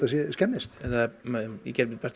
skemmist ég geri mitt besta